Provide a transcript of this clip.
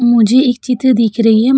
मुझे एक चिते दिख रही है। म --